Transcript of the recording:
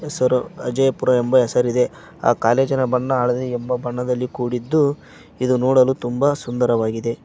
ಹೆಸರು ಅಜಯಪುರ ಎಂಬ ಹೆಸರಿದೆ ಆ ಕಾಲೇಜಿನ ಬಣ್ಣ ಹಳದಿ ಬಣ್ಣದಿಂದ ಕೂಡಿದ್ದು ಇದು ನೋಡಲು ತುಂಬಾ ಸುಂದರವಾಗಿದೆ.